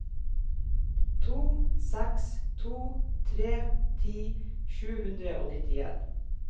to seks to tre ti sju hundre og nittien